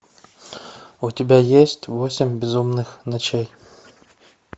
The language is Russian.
у тебя есть восемь безумных ночей